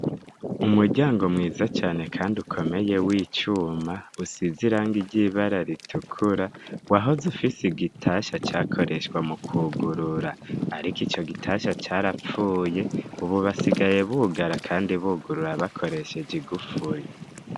Umuryango mwiza cane, kandi ukomeye wo icuma usize iranga ry'ibara ritukura w ahoze ufise igitasha cakoreshwa mu kwugurura, ariko ico gitasha carapfuye ububasigaye bugara, kandi bugurura bakoresheje igupfuri.